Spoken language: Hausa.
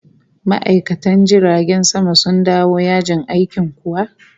Ma'aikatan jiragen sama sun dawo yajin aikin kuwa?